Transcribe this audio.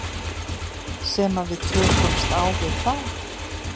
Sem að við tökumst á við þá?